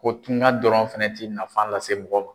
Ko tungan dɔrɔn fɛnɛ ti nafan lase mɔgɔ ma.